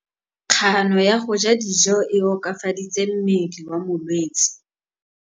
Kganô ya go ja dijo e koafaditse mmele wa molwetse.